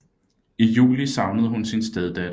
I juli savnede hun sin steddatter